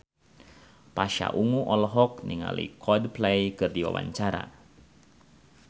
Pasha Ungu olohok ningali Coldplay keur diwawancara